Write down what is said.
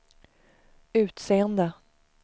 utseende